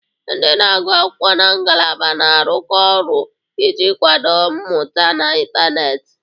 Ndị na-agụ akwụkwọ na ngalaba na-arụkọ ọrụ iji kwado mmụta n'ịntanetị.